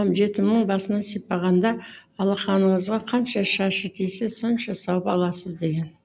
жетімнің басынан сипағанда алақаныңызға қанша шашы тисе сонша сауап аласыз деген